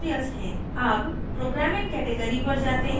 अब programming category पर जाते हैं